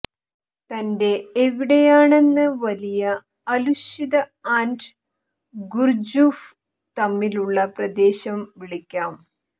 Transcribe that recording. തന്റെ എവിടെയാണെന്ന് വലിയ അലുശ്ത ആൻഡ് ഗുര്ജുഫ് തമ്മിലുള്ള പ്രദേശം വിളിക്കാം